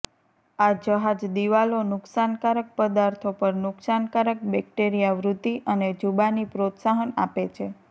આ જહાજ દિવાલો નુકસાનકારક પદાર્થો પર નુકસાનકારક બેક્ટેરિયા વૃદ્ધિ અને જુબાની પ્રોત્સાહન આપે છે